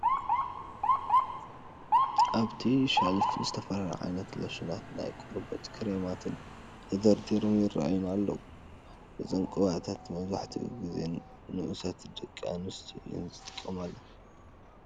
ኣብቲ ሸልፍ ዝተፈላለዩ ዓይነታት ሎሽናትን ናይ ቆርበት ክሬማትን ተደርዲሮም ይርኣዩና ኣለው፡፡ እዞም ቅብኣታት መብዛሕትኡ ጊዜ ንኡሳት ደቂ ኣንስትዮ እየን ዝጥቀማሎም፡፡